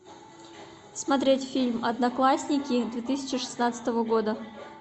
смотреть фильм одноклассники две тысячи шестнадцатого года